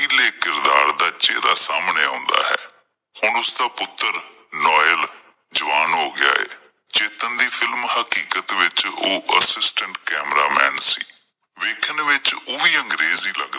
ਅਣਖੀਲੇ ਕਿਰਦਾਰ ਦਾ ਚਹਿਰਾ ਸਾਹਮਣੇ ਆਉਂਦਾ ਹੈ, ਹੁਣ ਉਸਦਾ ਪੁੱਤਰ ਜਵਾਨ ਹੋ ਗਿਆ ਹੈ, ਚੇਤਨ ਦੀ ਫਿਲਮ ਹਕੀਕਤ ਵਿੱਚ ਓਹ ਕੈਮਰਾਮੈਨ ਸੀ। ਵੇਖਣ ਵਿੱਚ ਓਹ ਵੀ ਅੰਗਰੇਜ ਈ ਲੱਗਦਾ ਹੈ।